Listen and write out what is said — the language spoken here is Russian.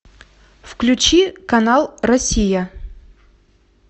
включи канал россия